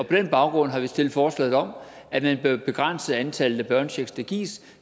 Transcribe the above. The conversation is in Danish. den baggrund har vi stillet forslaget om at man bør begrænse antallet af børnechecks der gives